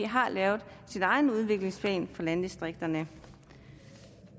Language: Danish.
har lavet sin egen udviklingsplan for landdistrikterne